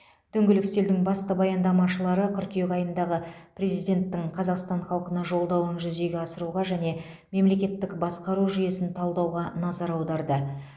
дөңгелек үстелдің басты баяндамашылары қыркүйек айындағы президенттің қазақстан халқына жолдауын жүзеге асыруға және мемлекеттік басқару жүйесін талдауға назар аударды